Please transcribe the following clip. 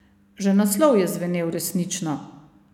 Že naslov je zvenel resnično.